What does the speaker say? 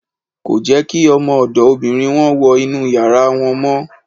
Kò jẹ́ kí ọmọ ọ̀dọ̀ obìnrin wọn wọ inúu yàrá wọn mọ́.